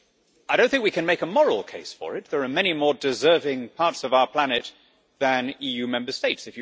I do not think we can make a moral case for it there are many more deserving parts of our planet than EU Member States.